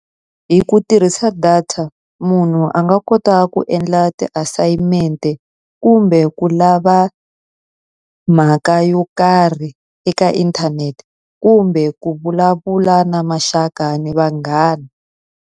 Hi ku tirhisa data, munhu a nga kota ku endla ti-assignment-e, kumbe ku lava mhaka yo karhi eka inthanete, kumbe ku vulavula na maxaka na vanghana.